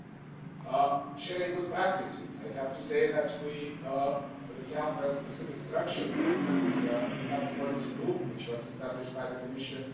On sharing good practices, I have to say that we have a specific structure for this a tax policy group that was established by the Commission.